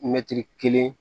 Mɛtiri kelen